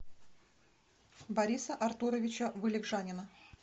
бориса артуровича вылегжанина